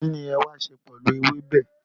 kín ni wàá sè pẹ̀lú ewébẹ̀?